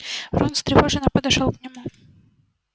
рон встревоженно подошёл к нему